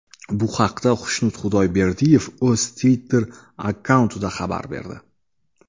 Bu haqda Xushnud Xudayberdiyev o‘z Twitter akkauntida xabar berdi .